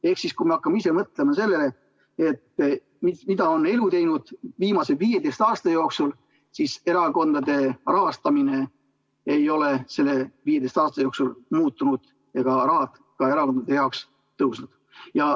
Ehk kui me hakkame mõtlema sellele, mida on elu teinud viimase 15 aasta jooksul, siis erakondade rahastamine ei ole selle aja jooksul muutunud ega raha erakonna jaoks suurenenud.